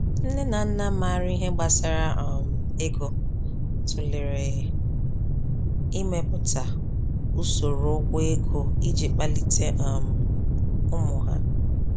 Nne na nna maara ihe gbasara um ego tụlere imepụta usoro ụgwọ ego iji kpalite um ụmụ ha.